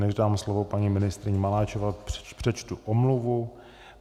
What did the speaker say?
Než dám slovo paní ministryni Maláčové, přečtu omluvu.